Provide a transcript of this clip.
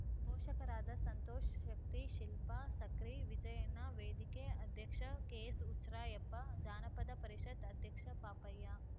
ಪೋಷಕರಾದ ಸಂತೋಷ ಸಕ್ರಿ ಶಿಲ್ಪ ಸಕ್ರಿ ವಿಜಯಣ್ಣ ವೇದಿಕೆ ಅಧ್ಯಕ್ಷ ಕೆಎಸ್‌ ಹುಚ್ರಾಯಪ್ಪ ಜಾನಪದ ಪರಿಷತ್‌ ಅಧ್ಯಕ್ಷ ಪಾಪಯ್ಯ